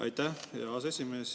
Aitäh, hea aseesimees!